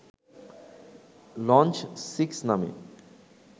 launch six নামে